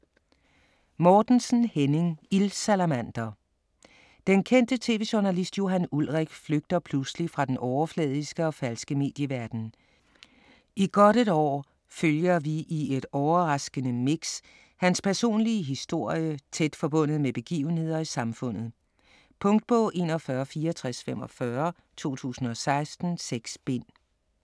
Mortensen, Henning: Ildsalamander Den kendte tv-journalist Johan Ulrik flygter pludselig fra den overfladiske og falske medieverden. I godt et år følger vi i et overraskende mix hans personlige historie tæt forbundet med begivenheder i samfundet. Punktbog 416445 2016. 6 bind.